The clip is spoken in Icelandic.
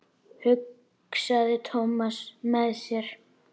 hugsaði Thomas með sér.